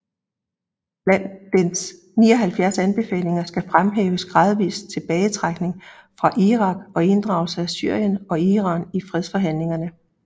Blandt dens 79 anbefalinger skal fremhæves gradvis tilbagetrækning fra Irak og inddragelse af Syrien og Iran i fredsforhandlinger